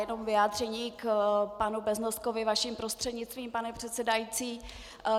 Jenom vyjádření k panu Beznoskovi vaším prostřednictvím, pane předsedající.